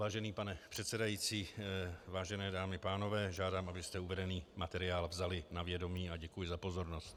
Vážený pane předsedající, vážené dámy a pánové, žádám, abyste uvedený materiál vzali na vědomí, a děkuji za pozornost.